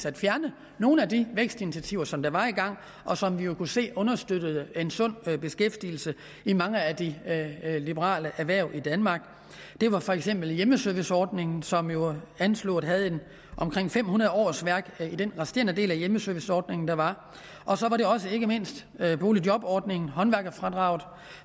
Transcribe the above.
at fjerne nogle af de vækstinitiativer som var i gang og som vi kunne se understøttede en sund beskæftigelse i mange af de liberale erhverv i danmark det var for eksempel hjemmeserviceordningen som jo anslået havde omkring fem hundrede årsværk i den resterende del af hjemmeserviceordningen der var og så var det også ikke mindst boligjobordningen håndværkerfradraget